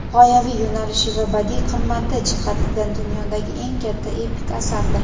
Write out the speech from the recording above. g‘oyaviy yo‘nalishi va badiiy qimmati jihatidan dunyodagi eng katta epik asardir.